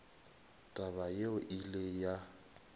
taba yeo e ile ya